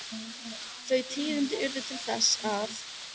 Þau tíðindi urðu til þess að